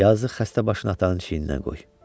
Yazıq xəstə başını atanın çiyninə qoy.